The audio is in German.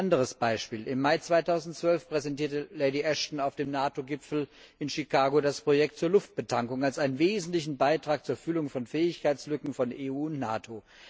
Anderes Beispiel Im Mai 2012 präsentierte Lady Ashton auf dem NATO Gipfel in Chicago das Projekt zur Luftbetankung als einen wesentlichen Beitrag zur Füllung von Fähigkeitslücken von EU und NATO.